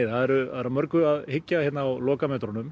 það er að mörgu að hyggja á lokametrunum